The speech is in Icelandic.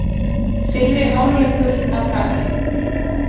Fyrri hálfleikur að baki